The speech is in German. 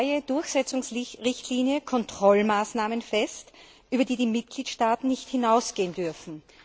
Jetzt legt die neue Durchsetzungsrichtlinie Kontrollmaßnahmen fest, über die die Mitgliedstaaten nicht hinausgehen dürfen.